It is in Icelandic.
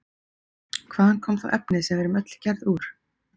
Hvaðan kom þá efnið sem við erum öll gerð úr?